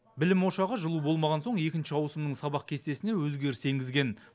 білім ошағы жылу болмаған соң екінші ауысымның сабақ кестесіне өзгеріс енгізген